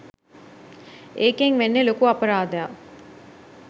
ඒකෙන් වෙන්නෙ ලොකු අපරාධයක්